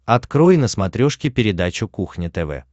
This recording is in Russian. открой на смотрешке передачу кухня тв